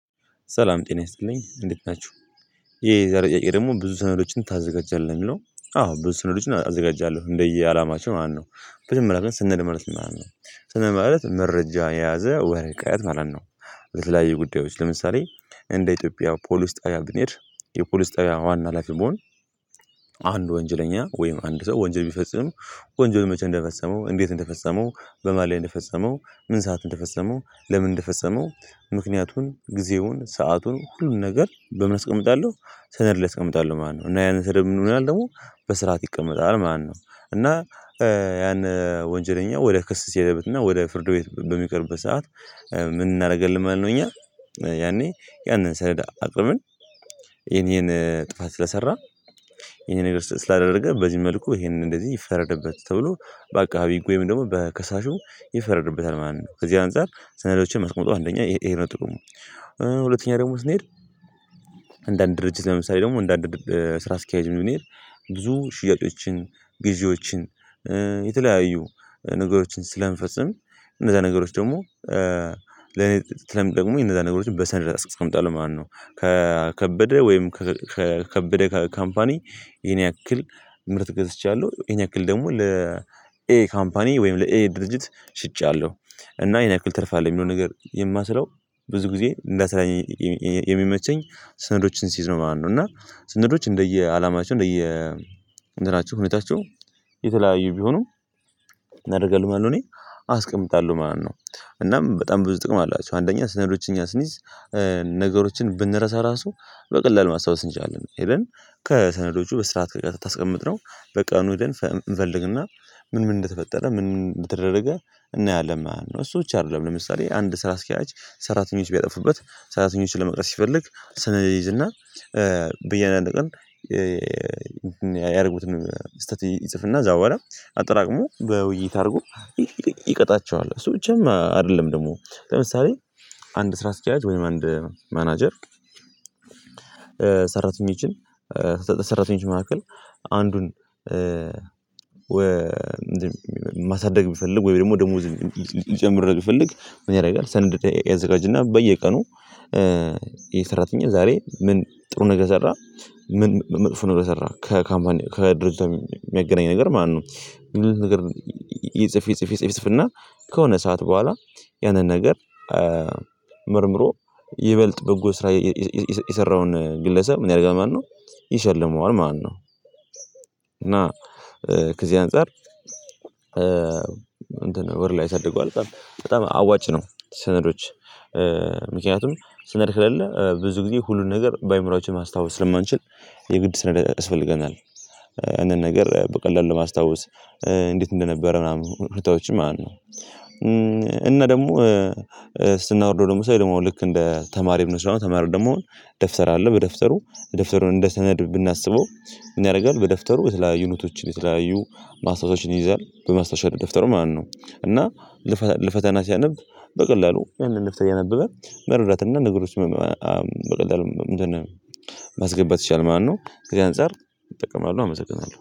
ሰላም ጤና ይስጥልኝ እንዴት ናችሁ? የዛሬ ጥያቄ ደግሞ ብዙ ሰነዶችን ታዘጋጃለህ? ነው የሚለው። አዎ ብዙ ሰነዶችን አዘጋጃለሁ። እንደየአላማቸው ማለት ነው። መጀመሪያ ግን ሰነድ ማለት ምን ማለት ነው? ሰነድ ማለት መረጃ የያዘ ወረቀት ማለት ነው። በተለያዩ ጉዳዮች። ለምሳሌ እንደ ኢትዮጵያ ፖሊስ ጣቢያ ብንሄድ የፖሊስ ጣቢያ ዋና ሀላፊ ብሆን የዛሬ ጥያቄ ደግሞ ብዙ ሰነዶችን ታዘጋጃለህ? ነው የሚለው። አዎ ብዙ ሰነዶችን አዘጋጃለሁ። እንደየአላማቸው ማለት ነው። መጀመሪያ ግን ሰነድ ማለት ምን ማለት ነው? ሰነድ ማለት መረጃ የያዘ ወረቀት ማለት ነው። በተለያዩ ጉዳዮች። ለምሳሌ እንደ ኢትዮጵያ ፖሊስ ጣቢያ ብንሄድ የፖሊስ ጣቢያ ዋና ሀላፊ ብሆን ወንጀል መቼ እንደፈጸመው? እንዴት እንደፈጸመው? በማን ላይ እንደፈጸመው? ምን ሰዓት እንደፈጸመው? ለምን እንደፈጸመው? ምክንያቱን ጊዜውን ሰአቱን ሁሉን ነገር በምን አስቀምጣለሁ? ሰነድ ላይ አስቀምጣለሁ ማለት ነው ::እና ያን ጊዜ ምን ይሆናል ደግሞ በስርዓት ይቀመጣል ማለት ነው። እና ያን ወንጀለኛ ወደ ክስ ሲሄድበትና ወደ ፍርድ ቤት በሚቀርብ ሰዓት ምን እናደርጋለን ማለት ነው እኛ? ያኔ ያንን ሰነድ አቅርበን ይሄን ይሄን ጥፋት ስለሰራ ይሄን ነገር ስላደረገ በዚህ መልኩ ይሄንን እንደዚህ ይፈረድበት ተብሎ በአቃቢ ህጉ ወይም ደግሞ በከሳሹ ይፈረድብታል ማለት ነው። ከዚህ አንፃር ሰነዶችን ማስቆም አንደኛ ይሄ ነው ጥቅሙ። ሁለተኛ ደግሞ ስንሄድ ምን እናደርጋለን ማለት ነው እኛ? የተለያዩ ነገሮችን ስለምንፈጽም እንደዛ ነገሮች ደግሞ ደግሞ የነዛ ነገሮችን በሰነድ አስቀምጣለሁ ማለት ነው። ከከበደ ወይም ከከበደ ካምፓኒ ይሄን ያክል ምርት ገዝቻለሁ፣ ይሄን ያክል ደግሞ ለኤ ካምፓኒ ወይም ለኤ ድርጅት ሽጫለሁ። እና ይሄን ያክል ትርፍ አለኝ የሚለው ነገር የማሰለው ብዙ ጊዜ እንዳስለኝ የሚመቸኝ ስነዶችን ስይዝ ነው ማለት ነው። እና ስነዶች እንደየአላማቸው እንደየ እንትናቸው ሁኔታቸው የተለያዩ ቢሆኑ አደርጋለሂ ማለት ነው እኔ አስቀምጣለሁ ማለት ነው። እናም በጣም ብዙ ጥቅም አላቸው። አንደኛ ሰነዶችን እኛ ስንይዝ ነገሮችን ብንረሳ ራሱ በቀላሉ ማስታወስ እንችላለን። ኤቨን ከሰነዶቹ በስርዓት በቀጥታ ካስቀምጥነው በቀኑ ሄደን እንፈልግና ምን ምን እንደተፈጠረ ምን ምን እንደተደረገ እናያለን ማን ነው። እሱ ብቻ አይደለም ለምሳሌ አንድ ስራ አስኪራጅ ሰራተኞች ቢያጠፉበት ሰራተኞች ለመውቀስስ ሲፈልግ ሰነድ ይዝና በየአንድ ቀን ያደረጉትን ስህተት ይጽፍና ከዛ በኋላ አጠራቅሞ በውይይት አድርጎ ይቀጣቸዋል። እሱ ብቻም አይደለም ደግሞ ለምሳሌ አንድ ስራ አስኪያጅ ወይም አንድ ማናጀር ሰራተኞችን ሰራተኞች መካከል መካከል አንዱን ማሳደግ ቢፈልግ ወይም ደግሞ ደሞዝ ሊጨምርለት ቢፈልግ ምን ያደርጋል ሰነድ ያዘጋጅና በየቀኑ ይህ ሰራተኛ ዛሬ ምን ጥሩ ነገር ሰራ? ምን መጥፎ ነገር ሰራ? ከካምፓኒ ከድርጅቱ ጋር የሚያገናኝ ነገር ማለት ነው። እንደዚህ አይነት ነገር ይጽፍ ይጽፍ ይጽፍ ይጽፍ እና ከሆነ ሰዓት በኋላ ያንን ነገር መርምሮ ይበልጥ በጎ ስራ የሰራውን ግለሰብ ምን ያደርጋል ማለት ነው ይሸልመዋል ማለት ነው። እና ከዚህ አንፃር እንትን ወር ላይ ያሳድገዋል። በጣም አዋጭ ነው ሰነዶች ምክንያቱም ሰነድ ከሌለ ብዙ ጊዜ ሁሉን ነገር በአእምሮአችን ማስታወስ ስለማንችል የግድ ሰነድ ያስፈልገናል። አንዳንድ ነገር በቀላሉ ለማስታወስ እንዴት እንደነበረ ምናምን ሁኔታዎችን ማለት ነው። እና ደግሞ ስናወርደው ደግሞ ሰው ደግሞ ልክ እንደ ተማሪ እንደሆነ ተማሪ ደግሞ ደብር አለ በደብተሩ ደብተሩን እንደ ሰነድ ብናስበው ያደርጋል በደብተሩ የተለያዩ ኑቶችን የተለያዩ ማስታወሻዎችን ይይዛል። በማስታወሻው ደብተሩ ማለት ነው። እና ለፈተና ሲያነብ በቀላሉ መረዳት እና ነጠሮችንን በቀላሉ ማስገባት ይችላል ማለት ነው። ከዚህ አንፃር እጠቀማለሁ። አመሰግናለሁ